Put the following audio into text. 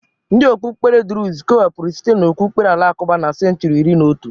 Ndị okpukpere drụz kewapụrụ site n'okpukpere alakụba na senchuri iri na otu.